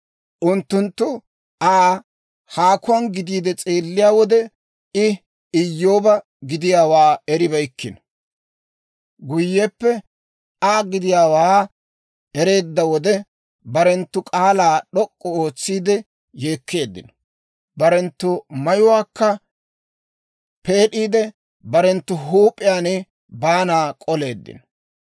Unttunttu Aa haakuwaan gidiide s'eelliyaa wode, I Iyyooba gidiyaawaa eribeykkino. Guyyeppe Aa gidiyaawaa ereedda wode, barenttu k'aalaa d'ok'k'u ootsiide yeekkeeddino; barenttu mayuwaakka peed'iide, barenttu huup'iyaan baana k'oleeddino.